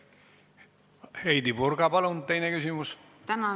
Heidy Purga, palun, teine küsimus!